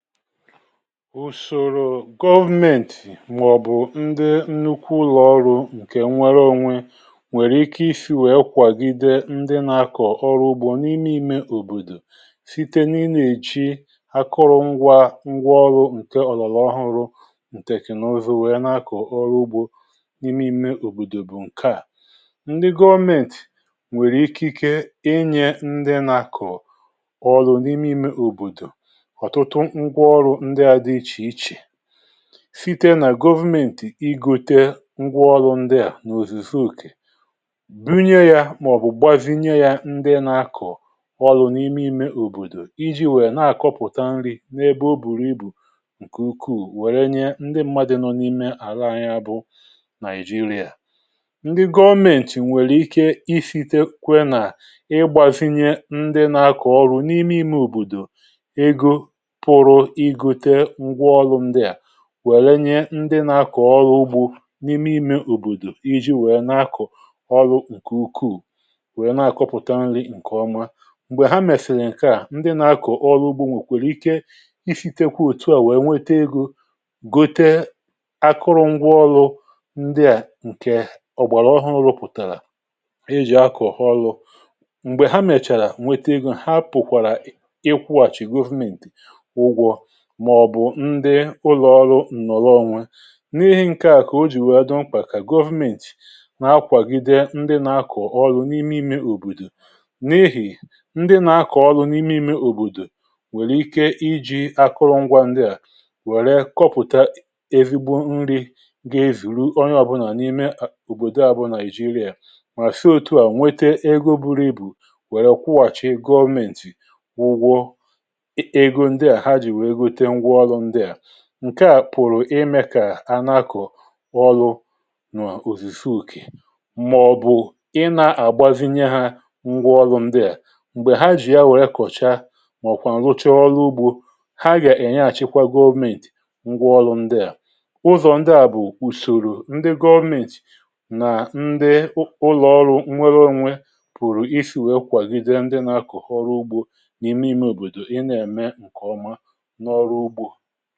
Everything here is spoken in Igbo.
Ùsòrò̀ government màọ̀bụ̀ ndị nnukwu ụlọọrụ ǹkè nwere onwe, nwèrè ikė isi wè̄e kwàgìde ndị nà-akọ̀ ọrụ ugbȯ n’ime ime òbòdò site n’ị̀na àchị̀ àkọrọ̀ ngwa ọrụ ǹkè ọ̀lọ̀lọ̀ ọhụrụ, ǹtèknụ̀zụ, wè̄e nà-akọ̀ ọrụ ugbȯ n’ime ime òbòdò. Bụ̀ ǹkè à, ndị gọọmentì nwèrè ikike inyè ndị nà-akọ̀ ọrụ n’ime ime òbòdò site nà government, ịgòte ngwa ọlụ̇ ndị à n’òzùzò ùkè, bìnye yà màọ̀bụ̀ gbazinyè yà, nye ndị nà-akọ̀ ọlụ̇ n’ime ime òbòdò iji̇ nwèrè, nà-àkọpụ̀tà nri̇ n’ebe ọ̀ bùrù ibù ǹkè ukwuù. Wèrè ndị mmadụ̀ nọ n’ime àlà ànya bụ̀ Nàịjíríà, ndị gọọmentì nwèrè ikė isìtekwa, nà ị̀gbazinyè ndị nà-akọ̀ ọlụ̇ n’ime ime òbòdò, wè̄renyé ndị nà-akọ̀ ugbȯ n’ime ime òbòdò, iji̇ wè̄e nà-akọ̀ ọlụ̇ ǹkè ukwuù, wè̄e nà-akọpụ̀tà nri̇ ǹkè ọ̀mà. M̀gbè ha mèsìrì ǹkè à, ndị nà-akọ̀ ọlụ̇ ugbȯ mà òkwèrè ikė isi̇tekwa òtù à, wè̄e nwètè egȯ, gòte akụrụ̀ngwȧ ngwa ọlụ̇ ndịà ǹkè ọ̀gbàrà ọhụrụ̇ pụ̀tàrà e jì akọ̀hụ ọlụ̇. M̀gbè ha mèchàrà, nwètè egȯ ǹhà, pụ̀kwàrà ị̀kwụ̇hàchì government màọ̀bụ̀ ndị ụlọọrụ ǹnọ̀lọ̀ onwe. N’ihì ǹkè à kà o jì wè̄e dumkà, kà government nà-akwàgide ndị nà-akọ̀ ọlụ̇ n’ime ime òbòdò, n’ehì̇ ndị nà-akọ̀ ọlụ̇ n’ime ime òbòdò nwèrè ikė iji̇ akụrụ̀ngwȧ ndị à, wèrè kọpụ̀tà erígbò nri̇ gà-ewìrù onye ọ̀bụ̀là n’ime òbòdò à bụ̀ Nàịjíríà. Mà fịa òtù à, nwètè egȯ buru e bù̇, wèrè kwụàchì government wụ̀gwọ. Ǹkè à pụ̀rụ̀ imė kà a n’àkụ̀ ọlụ̇ n’ụ̀zìzì ùkè, màọ̀bụ̀ ị̀ nà-àgbazinye hà ngwa ọlụ̇ ndịà m̀gbè ha jì yà wèrè kọ̀cha, màọ̀kwà rụ̀cha ọlụ̇ ugbȯ, hà gà-ènye àchịkwa gọvmentì ngwa ọlụ̇ ndịà. Ù̀zọ̀ ndị à bụ̀ ùsòrò̀ ndị gọọmentì nà ndị ụlọ̀ọrụ ǹnọ̀lọ̀ onwe, pụ̀rụ̀ isi̇ wè̄e kwàgìde ndị nà-akụ̀ ọrụ ugbȯ n’ime ime òbòdò, ị̀ nà-ème ǹkè ọ̀mà, ǹkè nà ọ̀tụtụ màọ̀lụ̀. Ihe à, wè̄e mèé ǹkẹ̀ mà, nà-àhụ̀kwà.